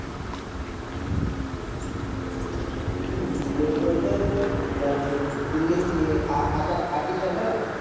উম bengali তেও জানতো আর আর কিছু জানতো না